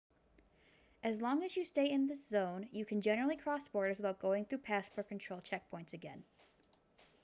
as long as you stay in this zone you can generally cross borders without going through passport control checkpoints again